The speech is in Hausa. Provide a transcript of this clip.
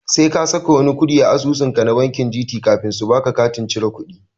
Sai ka saka wani kuɗi a asusu banki ka na Gt kafin su baka katin cire kudi.